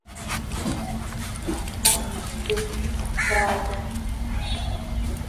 поставь песню бразер